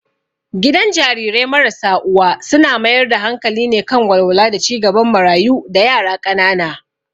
Gidan Jarirai marasa uwa suna mayar da hankali ne kan walwala da ci gaban marayu da yara ƙanana.